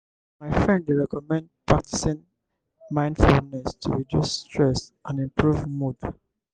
my friend dey recommend practicing mindfulness to reduce stress and improve mood.